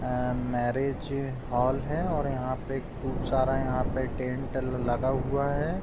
अ marriage hall है और यहाँ पे खूब सारा यहाँ पे टेंट लगा हुआ है।